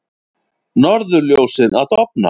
Norðurljósin að dofna